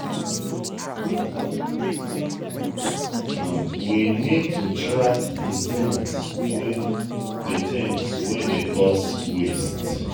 we need to track di things wey di things wey dey cause waste